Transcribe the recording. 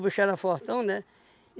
O bicho era fortão, né?